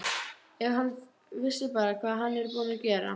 Ef hann vissi bara hvað hann er búinn að gera.